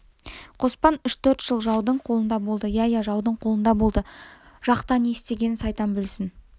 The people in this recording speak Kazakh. қоспан үш-төрт жыл жаудың қолында болды иә иә жаудың қолында болды жақта не істегенін сайтан білсін